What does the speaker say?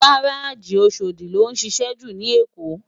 Gáráji Óṣódi ló nšišẹ jú ni Ékó